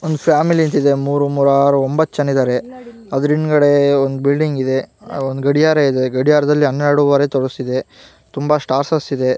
ಒಂದು ಫ್ಯಾಮಿಲಿ ಇದೆ ಮೂರು ಮೂರು ಆರೊ ಒಂಬತ್ ಜನ ಇದ್ದಾರೆ ಅದರ ಹಿಂದಗಡೆ ಒಂದ್ ಬಿಲ್ಡಿಂಗ್ ಇದೆ ಒಂದ ಗಡಿಯಾರ ಇದೆ ಗಡಿಯಾರದಲ್ಲಿ ಹನ್ನೆರಡುವರೆ ತೋರಸತಿದ್ದೆ ತುಂಬಾ ಸ್ಟಾರ್ಸಸ್ ಇದೆ .